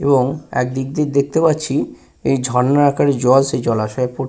এবং একদিক দিয়ে দেখতে পাচ্ছি এই ঝর্ণার আকারে জল এই জলাশয়ে পড় --